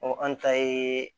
an ta ye